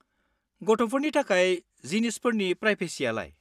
गथ'फोरनि थाखाय जिनिसफोरनि प्रायभेसियालाय?